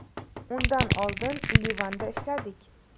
Undan oldin Livanda ishladik.